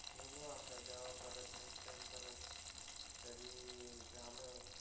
बघू आता जेव्हा परत नेक्स्ट टाइम परत कधी झालं